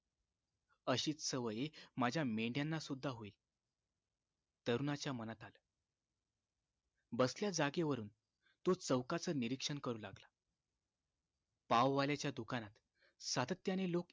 अशीच सवय माझ्या मेंढ्याना सुद्धा होईल तरुणाच्या मनात आलं बसल्या जागेवरून तो चौकाच निरीक्षण करू लागला पाव वाल्याच्या दुकानात सातत्याने लोक